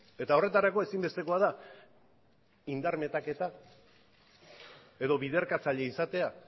eta horretarako ezinbestekoa da indar metaketa edo biderkatzaile izatea